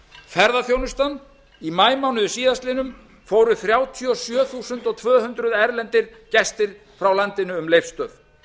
ferðaþjónustan í maímánuði síðastliðnum fóru þrjátíu og sjö þúsund tvö hundruð erlendir gestir frá landinu um leifsstöð